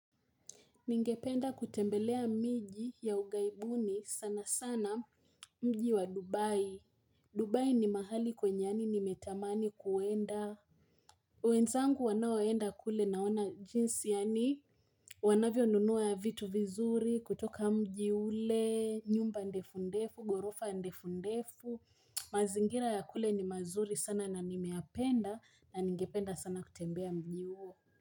Ningependa kutembelea miji ya ughaibuni sana sana mji wa Dubai, Dubai ni mahali kwenye yaani nimetamani kuenda wenzangu wanaoenda kule naona jinsi yaani wanavyonunua vitu vizuri kutoka mji ule, nyumba ndefundefu, ghorofa ndefundefu, mazingira ya kule ni mazuri sana na nimeyapenda na ningependa sana kutembea mji huo.